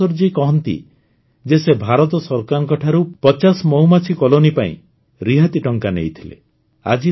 ମଧୁକେଶ୍ୱର ଜୀ କହନ୍ତି ଯେ ସେ ଭାରତ ସରକାରଙ୍କଠାରୁ ୫୦ ମହୁମାଛି କଲୋନି ପାଇଁ ରିଆତି ଟଙ୍କା ନେଇଥିଲେ